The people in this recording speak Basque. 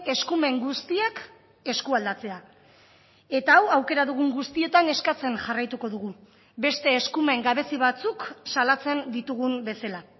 eskumen guztiak eskualdatzea eta hau aukera dugun guztietan eskatzen jarraituko dugu beste eskumen gabezi batzuk salatzen ditugun bezala